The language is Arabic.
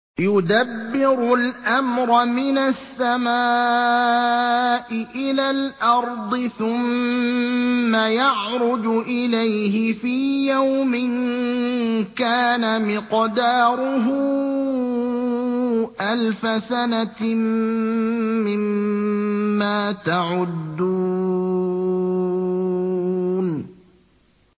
يُدَبِّرُ الْأَمْرَ مِنَ السَّمَاءِ إِلَى الْأَرْضِ ثُمَّ يَعْرُجُ إِلَيْهِ فِي يَوْمٍ كَانَ مِقْدَارُهُ أَلْفَ سَنَةٍ مِّمَّا تَعُدُّونَ